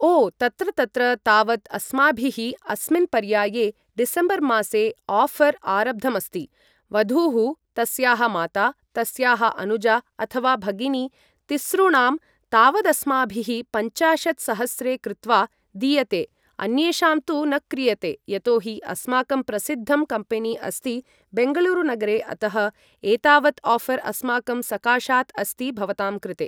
ओ तत्र तत्र तावत् अस्माभिः अस्मिन् पर्याये डिसेम्बर् मासे आफ़र् आरब्धमस्ति वधूः तस्याः माता तस्याः अनुजा अथवा भगिनी तिसॄणां तावदस्माभिः पञ्चाशत् सहस्रे कृत्वा दीयते अन्येषां तु न क्रियते यतो हि अस्माकं प्रसिद्धं कम्पेनि अस्ति बेङ्गलूरु नगरे अतः एतावत् आफ़र् अस्माकं सकाशात् अस्ति भवतां कृते